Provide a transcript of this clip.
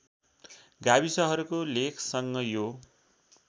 गाविसहरूको लेखसँग यो